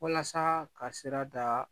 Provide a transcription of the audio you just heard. Walasa ka sira da